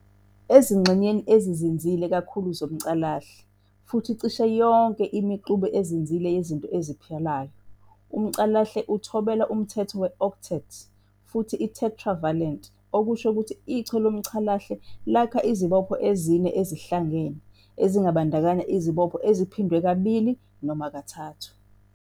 Ezingxenyeni ezizinzile kakhulu zomcalahle, futhi cishe yonke imixube ezizinzile yezinto eziphilayo, umcalahle uthobela umthetho we-octet futhi i-tetravalent, okusho ukuthi iChwe loomcalahle lakha izibopho ezine ezihlangene, ezingabandakanya izibopho eziphindwe kabili nezintathu.